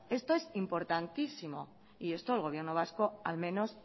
esto es importantísimo y esto el gobierno vasco al menos